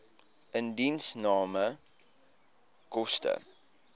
indiensname koste